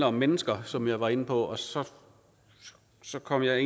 om mennesker som jeg var inde på og så så kom jeg